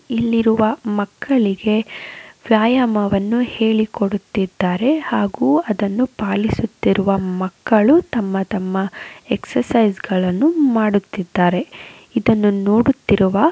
ಇಲ್ಲಿರುವ ಮಕ್ಕಳಿಗೆ ವ್ಯಾಯಾಮವನ್ನು ಹೇಳಿಕೊಡುತ್ತಿದ್ದಾರೆ ಹಾಗು ಅದನ್ನು ಪಾಲಿಸುತ್ತಿರುವ ಮಕ್ಕಳು ತಮ್ಮ ತಮ್ಮ ಎಕ್ಸರ್ಸೈಜ್ ಗಳನ್ನು ಮಾಡುತ್ತಿದ್ದಾರೆ ಇದನ್ನು ನೋಡುತ್ತಿರುವ--